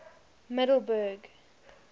middelburg